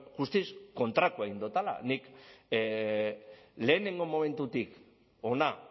guztiz kontrakoa egin dudala nik lehenengo momentutik hona